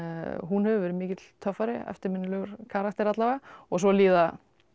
hún hefur verið mikill töffari eftirminnilegur karakter alla vega og svo líða